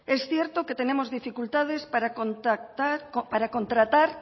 es cierto que tenemos dificultades para contratar